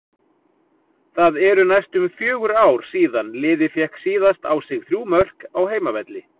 Það eru næstum fjögur ár síðan liðið fékk síðast á sig þrjú mörk á heimavelli.